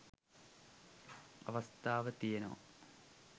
අවස්ථාව තියෙනවා.